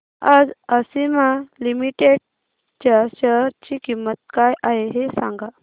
आज आशिमा लिमिटेड च्या शेअर ची किंमत काय आहे हे सांगा